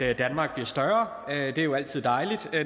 at danmark bliver større det er jo altid dejligt